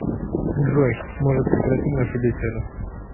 джой может прекратим нашу беседу